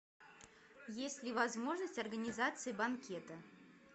есть ли возможность организации банкета